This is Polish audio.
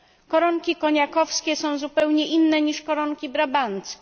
Koronki koniakowskie są zupełnie inne niż koronki brabanckie.